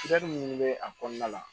minnu bɛ a kɔnɔna la